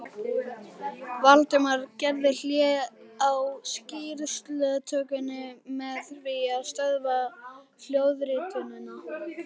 Valdimar gerði hlé á skýrslutökunni með því að stöðva hljóðritunina.